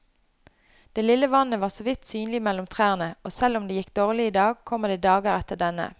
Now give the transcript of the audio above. Det lille vannet var såvidt synlig mellom trærne, og selv om det gikk dårlig i dag, kommer det dager etter denne.